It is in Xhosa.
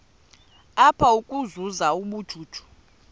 apha ukuzuza ubujuju